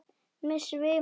Mig svimar.